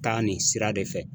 Taa nin sira de fɛ.